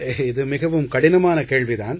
இது மிகவும் கடினமான கேள்வி தான்